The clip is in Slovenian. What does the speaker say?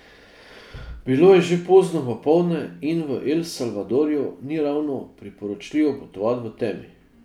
Bilo je že pozno popoldne in v El Salvadorju ni ravno priporočljivo potovati v temi.